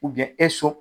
e so